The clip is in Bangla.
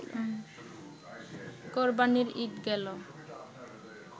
কোরবানির ঈদ গেল